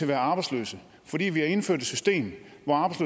være arbejdsløse fordi vi har indført et system